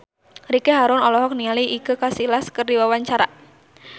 Ricky Harun olohok ningali Iker Casillas keur diwawancara